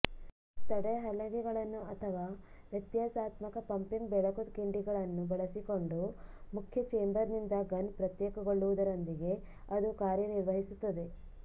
ತಡೆಹಲಗೆಗಳನ್ನು ಅಥವಾ ವ್ಯತ್ಯಾಸಾತ್ಮಕ ಪಂಪಿಂಗ್ ಬೆಳಕು ಕಿಂಡಿಗಳನ್ನು ಬಳಸಿಕೊಂಡು ಮುಖ್ಯ ಚೇಂಬರ್ನಿಂದ ಗನ್ ಪ್ರತ್ಯೇಕಗೊಳ್ಳುವುದರೊಂದಿಗೆ ಅದು ಕಾರ್ಯನಿರ್ವಹಿಸುತ್ತದೆ